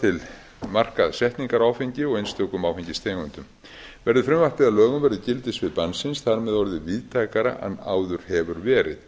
til markaðssetningar á áfengi og einstökum áfengistegundum verði frumvarpið að lögum verður gildissvið bannsins þar með orðið víðtækara en áður hefur verið